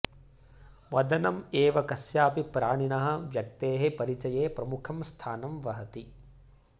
वदनम् एव कस्यापि प्राणिनः व्यक्तेः परिचये प्रमुखं स्थानं वहति